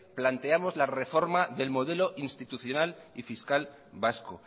planteamos la reforma del modelo institucional y fiscal vasco